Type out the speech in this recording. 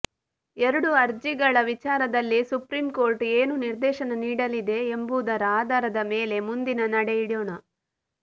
ಎರಡೂ ಅರ್ಜಿಗಳ ವಿಚಾರದಲ್ಲಿ ಸುಪ್ರೀಂಕೋರ್ಟ್ ಏನು ನಿರ್ದೇಶನ ನೀಡಲಿದೆ ಎಂಬುದರ ಆಧಾರದ ಮೇಲೆ ಮುಂದಿನ ನಡೆ ಇಡೋಣ